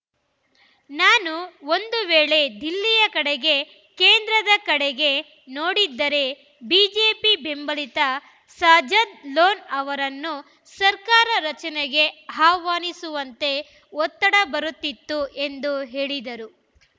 ನಾನು ಒಂದು ವೇಳೆ ದಿಲ್ಲಿಯ ಕಡೆಗೆ ಕೇಂದ್ರದ ಕಡೆಗೆ ನೋಡಿದ್ದರೆ ಬಿಜೆಪಿ ಬೆಂಬಲಿತ ಸಜ್ಜಾದ್‌ ಲೋನ್‌ ಅವರನ್ನು ಸರ್ಕಾರ ರಚನೆಗೆ ಆಹ್ವಾನಿಸುವಂತೆ ಒತ್ತಡ ಬರುತ್ತಿತ್ತು ಎಂದು ಹೇಳಿದರು